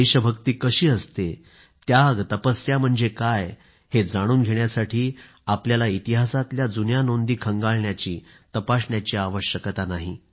देशभक्ती कशी असते त्याग तपस्या म्हणजे काय हे जाणून घेण्यासाठी आपल्याला इतिहासातल्या जुन्या घटनांकडे पाहण्याची आवश्यकता भासणार नाही